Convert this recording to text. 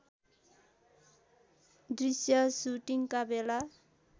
दृष्य सुटिङका बेला